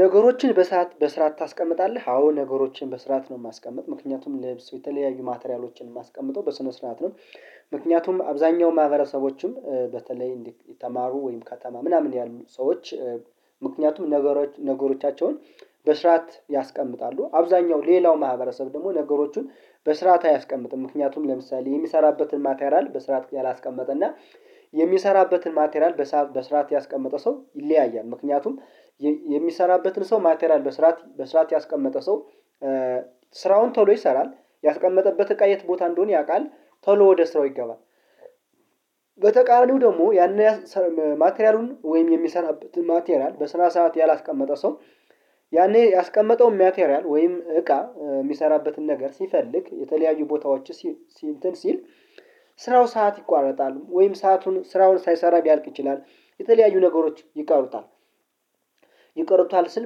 ነገሮችን በሰአት በስርዓት ታስቀምጣለህ አዎ ነገሮችን በስርዓት ነው። የማስቀምጥ ምክንያቱም ልብስ የተለያዩ ማቴሪያሎችን ማስቀምጠው በስነ ስርዓት ነው። ምክንያቱም አብዛኛው ማህበረሰቦችም በተለይ እንደተማሩ ወይም ከተማ ምናምን ያሉ ሰዎች። ምክንያቱም ነገሮች ነገሮቻቸውን በስርዓት ያስቀምጣሉ አብዛኛው ሌላው ማህበረሰብ ደግሞ ነገሮቹን በስርዓት አያስቀምጥም። ምክንያቱም ለምሳሌ የሚሰራበትን ማቴሪያል በስርዓት ያላስቀመጠ እና የሚሰራበትን ማቴራል በስርዓት ያስቀመጠ ሰው ይለያያል። ምክንያቱም የሚሰራበትን ሰው ማቴሪያል በስርዓት ያስቀመጠ ሰው። ስራውን ቶሎ ይሰራል ያስቀመጠበት እቃ የት ቦታ እንደሆነ ያውቃል ቶሎ ወደ ስራው ይገባል። በተቃራኒው ደግሞ ያንን ማቴሪያሉን ወይም የሚሰራበት ማቴሪያል በስራ ሰዓት ያላስቀመጠ ሰው። ያኔ ያስቀመጠው ማቴሪያል ወይም እቃ የሚሰራበትን ነገር ሲፈልግ የተለያዩ ቦታዎች ሲል ሲል ሲል ስራው ሰዓት ይቋረጣሉ ወይም ሰአቱን ስራውን ሳይሰራ ቢያልቅ ይችላል የተለያዩ ነገሮች ይቀሩታል። ይቀሩታል ስል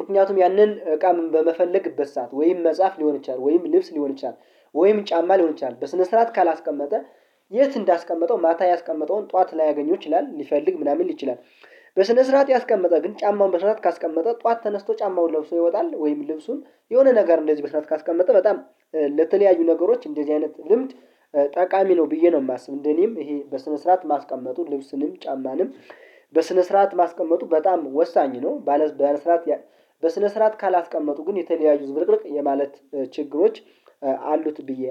ምክንያቱም ያንን እቃም በመፈለግበት ሰዓት ወይም መጽሐፍ ሊሆን ይችላል ወይም ልብስ ሊሆን ይችላል። ወይም ጫማ ሊሆን ይችላል በስነ ስርዓት ካላስቀመጠ የት እንዳስቀመጠው ማታ ያስቀመጠውን ጠዋት ላያገኙ ይችላል ሊፈልግ ምናምን ሊችል ይችላል። በስነ ስርዓት ያስቀመጠ ግን ጫማውን መስራት ካስቀመጠ ጠዋት ተነስቶ ጫማውን ለብሶ ይወጣል ወይም ልብሱን የሆነ ነገር እንደዚህ በሰአት ካስቀመጠ በጣም ለተለያዩ ነገሮች እንደዚህ አይነት ልምድ ጠቃሚ ነው ብዬ ነው የማስብ። እንደኔም ይሄ በስነ ስርዓት ማስቀመጡ ልብስንም ጫማንም በስነ ስርዓት ማስቀመጡ በጣም ወሳኝ ነው። ባለ ስራ በስነ ስርዓት ካላስቀመጡ ግን የተለያዩ ዝብርቅርቅ የማለት ችግሮች አሉት ብዬ